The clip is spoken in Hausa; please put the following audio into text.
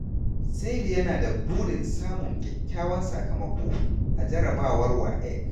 Saidu yana da burin samun kyakkyawan sakamako a jarrabawar WAEC.